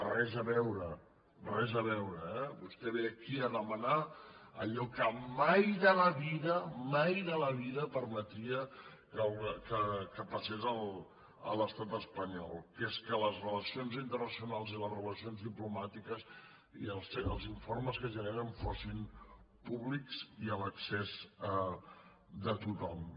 res a veure res a veure eh vostè ve aquí a demanar allò que mai de la vida mai de la vida permetria que passés a l’estat espanyol que és que les relacions internacionals i les relacions diplomàtiques i els informes que generen fossin públics i a l’accés de tothom